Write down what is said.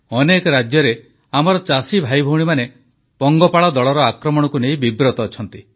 ଅନେକ ରାଜ୍ୟରେ ଆମର ଚାଷୀ ଭାଇଭଉଣୀମାନେ ପଙ୍ଗପାଳ ଦଳର ଆକ୍ରମଣକୁ ନେଇ ବିବ୍ରତ ଅଛନ୍ତି